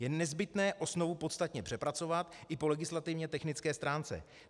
Je nezbytné osnovu podstatně přepracovat i po legislativně technické stránce.